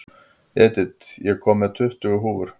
Edith, ég kom með tuttugu húfur!